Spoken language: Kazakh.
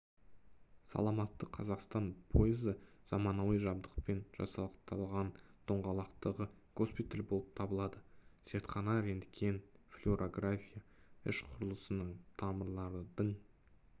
саламатты қазақстан пойызы заманауи жабдықпен жасақталған доңғалақтағы госпиталь болып табылады зертхана рентген флюорография іш құрылысының тамырлардың